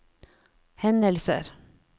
hendelser